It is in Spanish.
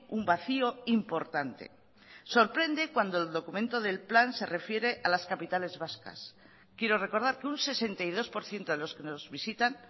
un vacío importante sorprende cuando el documento del plan se refiere a las capitales vascas quiero recordar que un sesenta y dos por ciento de los que nos visitan